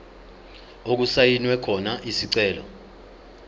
okusayinwe khona isicelo